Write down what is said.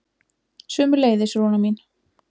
Sömuleiðis, Rúna mín.